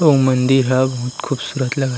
उ मंदिर हव बहुत खूबसूरत लगत--